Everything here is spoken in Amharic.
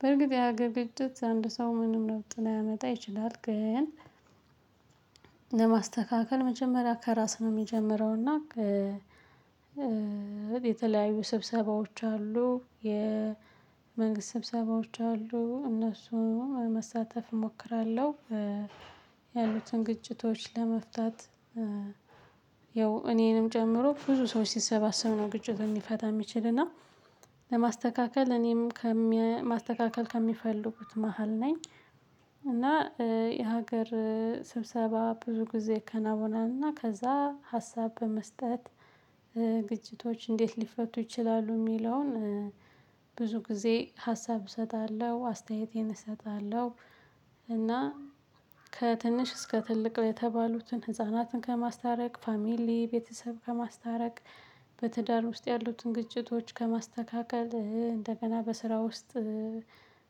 በርግጥ የሀገር ግጭት አንድ ሰው ምንም ለውጥ ላያመጣ ይችላል። ግን ለማስተካከል መጀመሪያ ከራስ ነው ሚጀምረው። እና የተለያዩ ስብሰባዎች አሉ የመንግስት ስብሰባዎች አሉ እነሱን መሳተፍ እሞክራለሁ። ያሉትን ግጭቶች ለመፍታት ያው እኔንም ጨምሮ ብዙ ሰዎች ሲሰባሰብ ነው ግጭት ሚፈታ ሚችል እና ለማስተካከል እኔም ከማስተካከል ከሚፈልጉት መሃል ነኝ። እና የሀገር ስብሰባ ብዙ ጊዜ ከነበነና ከዛ ሀሳብ በመስጠት ግጭቶች እንዴት ሊፈቱ ይችላሉ? ሚለውን ብዙ ጊዜ ሀሳብ እሰጣለሁ አስተያየቴን እሰጣለሁ። እና ከትንሽ እስከ ትልቅ የተባሉትን ህፃናትን ከማስታረቅ ፋሚሊ ቤተሰብ ከማስታረቅ በትዳር ውስጥ ያሉትን ግጭቶች ከማስተካከል እንደገና በስራ ውስጥ።